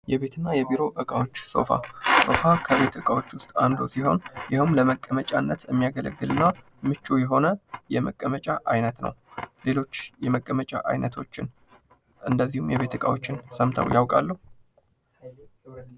የቤትና የቢሮ እቃዎች ሶፋ ሶፋ ከቤት እቃዎች ውስጥ አንዱ ሲሆን እንዲሁም ለመቀመጫነት የሚያገለግል እና ምቹ የሆነ የመቀመጫ ዓይነት ነው። ሌሎች የመቀመጫ አይነቶች እንደዚሁም የቤት ዕቃዎችን ሰምተው ያውቃሉ?